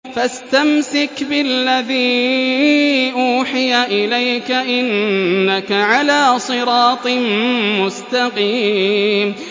فَاسْتَمْسِكْ بِالَّذِي أُوحِيَ إِلَيْكَ ۖ إِنَّكَ عَلَىٰ صِرَاطٍ مُّسْتَقِيمٍ